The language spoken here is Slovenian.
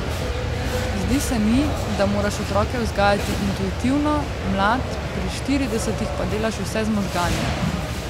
Zdi se mi, da moraš otroke vzgajati intuitivno, mlad, pri štiridesetih pa delaš vse z možgani.